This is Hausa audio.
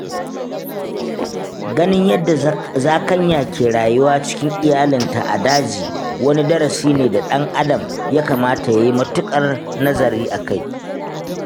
Ganin yadda zakanya ke rayuwa cikin iyalinta a daji wani darasi ne da ɗan adam ya kamata yayi matuƙar nazari akai.